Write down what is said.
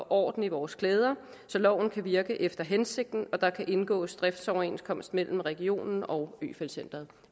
orden i vores klæder så loven kan virke efter hensigten og så der kan indgås driftsoverenskomst mellem regionen og øfeldt centret